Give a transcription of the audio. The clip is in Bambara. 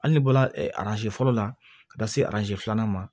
Hali n'i bɔra ɛ araze fɔlɔ la ka taa se arazi filanan ma